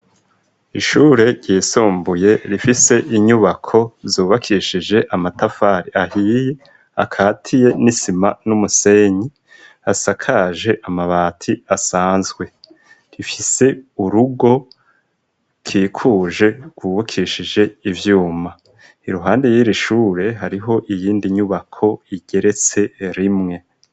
Ishure ryisumbuye rifise inyubako zubakishije amatafari ahiye akatiye n'isima n'umusenyi asakaje amabati asanzwe. Rifise urugo rukikuje rwubukishije ibyuma iruhande y'irishure hariho iyindi nyubako igeretse rimwe.